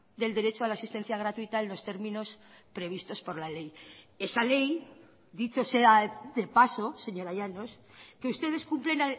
del derecho a la asistencia gratuita en los términos previstos por la ley esa ley dicho sea de paso señora llanos que ustedes cumplen